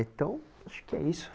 Então, acho que é isso.